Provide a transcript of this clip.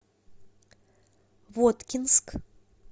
воткинск